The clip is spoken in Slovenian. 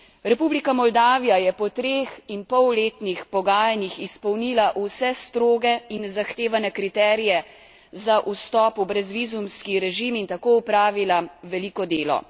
Republika Moldavija je po treh in pol letnih pogajanjih izpolnila vse stroge in zahtevane kriterije za vstop v brezvizumski režim in tako opravila veliko delo.